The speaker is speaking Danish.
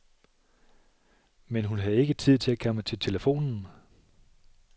Men hun havde ikke tid til at komme til telefonen.